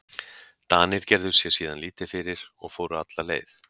Danir gerðu sér síðan lítið fyrir og fóru alla leið.